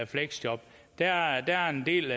fleksjob der er en del